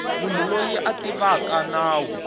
munhu loyi a tivaka nawu